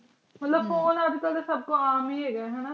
ਮਤਲਬ phone ਫੋਨੇ ਅਜੇ ਕਲ ਤੇ ਸਬ ਕੋਲ ਆਮ ਏਈ ਹੇਗਾ ਆਯ ਨਾ